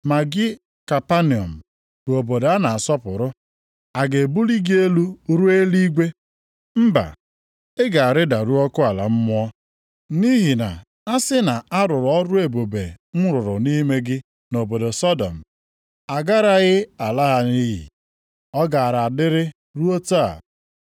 Ma gị Kapanọm bụ obodo a na-asọpụrụ, a ga-ebuli gị elu ruo eluigwe? Mba, ị ga-arịdaru ọkụ ala mmụọ. Nʼihi na a sị na a rụrụ ọrụ ebube m rụrụ nʼime gị nʼobodo Sọdọm, a garaghị ala ya nʼiyi. Ọ gaara adịrị ruo taa.